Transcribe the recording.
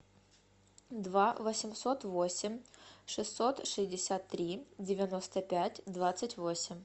два восемьсот восемь шестьсот шестьдесят три девяносто пять двадцать восемь